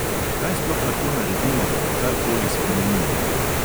Kaj sploh lahko naredimo, da bi kar koli spremenili?